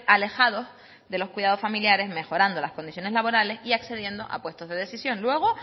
alejados de los cuidados familiares mejorando las condiciones laborales y accediendo a puestos de decisión luego